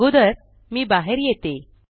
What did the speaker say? अगोदर मे बाहेर येते